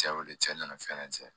Cɛ y'o wele cɛ nana fɛn na cɛn